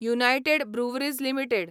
United Breweries limited